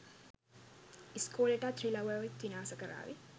ඉස්කෝලෙටත් රිලව් ඇවිත් විනාස කරාවි.